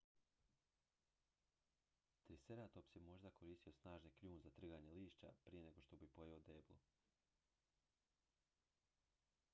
triceratops je možda koristio snažni kljun za trganje lišća prije nego što bi pojeo deblo